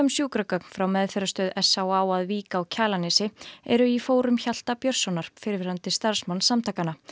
sjúkragögn frá meðferðarstöð s á á að Vík á Kjalarnesi eru í fórum Hjalta Björnssonar fyrrverandi starfsmanns samtakanna